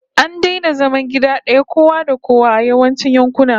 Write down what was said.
An daina zama gida daya kowa da kowa a yawancin yankuna